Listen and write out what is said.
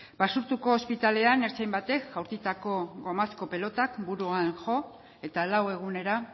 basurtuko hospitalean ertzain batek jaurtitako gomazko pilota buruan jo eta lau egunera